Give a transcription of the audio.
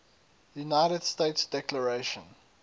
united states declaration